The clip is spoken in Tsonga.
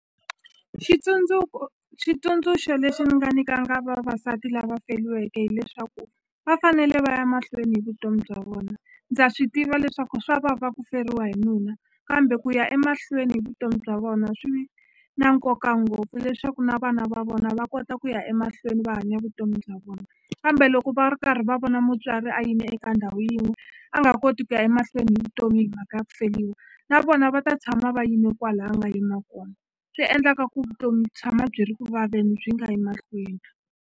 Xitsundzuko xitsundzuxo lexi ni nga nyikanga vavasati lava feliweke hileswaku va fanele va ya mahlweni hi vutomi bya vona ndza swi tiva leswaku swa vava ku feriwa hi nuna kambe ku ya emahlweni hi vutomi bya vona swi na nkoka ngopfu leswaku na vana va vona va kota ku ya emahlweni va hanya vutomi bya vona kambe loko va ri karhi va vona mutswari a yime eka ndhawu yin'we a nga koti ku ya emahlweni hi vutomi hi mhaka ya ku feliwa na vona va ta tshama va yime kwala a nga yima kona swi endlaka ku vutomi tshama byi ri ku vaveni byi nga yi mahlweni.